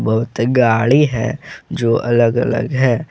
बहुत गाड़ी है जो अलग अलग है।